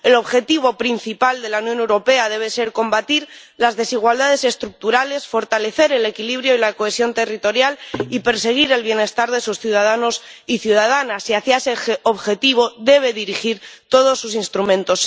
El objetivo principal de la Unión Europea debe ser combatir las desigualdades estructurales, fortalecer el equilibrio y la cohesión territorial y perseguir el bienestar de sus ciudadanos y ciudadanas, y hacia ese objetivo debe dirigir todos sus instrumentos.